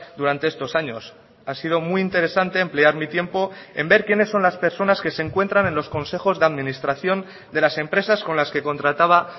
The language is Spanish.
durante estos años ha sido muy interesante emplear mi tiempo en ver quiénes son las personas que se encuentran en los consejos de administración de las empresas con las que contrataba